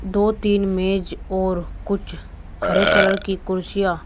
दो तीन मेज और कुछ हरे कलर की कुर्सियां--